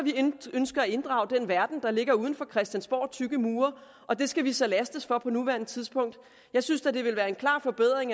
ønsker at inddrage den verden der ligger uden for christiansborgs tykke mure og det skal vi så lastes for på nuværende tidspunkt jeg synes da det ville være en klar forbedring